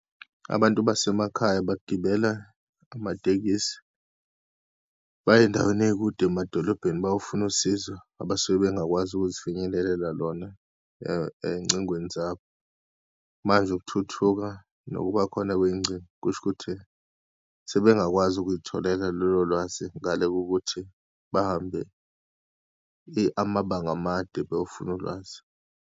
Abantu basemakhaya bagibela amatekisi, baye eyindaweni eyikude emadolobheni bayofuna usizo, abasuke bengakwazi ukuzifinyelelela lona eyincingweni zabo. Manje ukuthuthuka nokuba khona kweyingcingo kusho ukuthi sebengakwazi ukuyitholela lolo lwazi, ngale kokuthi bahambe amabanga amade beyofuna ulwazi.